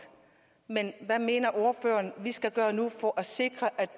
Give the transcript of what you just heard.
men hvad mener ordføreren vi skal gøre nu for at sikre